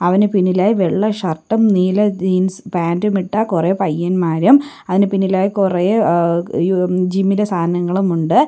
അവന് പിന്നിലായി വെള്ള ഷർട്ടും നീല ജീൻസ് പാൻ്റും ഇട്ട കുറേ പയ്യൻമാരും അതിനു പിന്നിലായി കുറേ എഹ്‌ ജിം ഇലെ സാധനങ്ങളും ഉണ്ട്.